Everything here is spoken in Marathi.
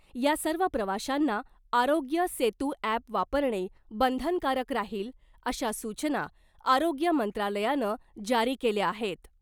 या सर्व प्रवाशांना आरोग्य सेतु ॲप वापरणे बंधनकारक राहील अशा सूचना आरोग्य मंत्रालयानं जारी केल्या आहेत .